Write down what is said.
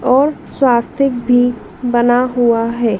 और स्वास्तिक भी बना हुआ है।